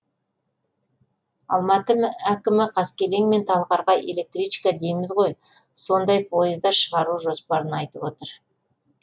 алматы әкімі қаскелең мен талғарға электричка дейміз ғой сондай пойыздар шығару жоспарын айтып отыр